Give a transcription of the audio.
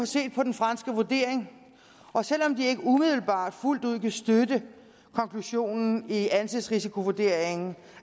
set på den franske vurdering og selv om de ikke umiddelbart fuldt ud kan støtte konklusionen i anses risikovurderingen